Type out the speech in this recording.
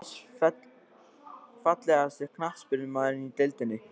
Pass Fallegasti knattspyrnumaðurinn í deildinni?